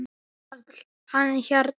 Var hann hérna?